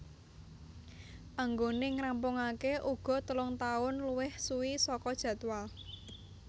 Anggone ngrampungake uga telung tahun luwih suwi saka jadwal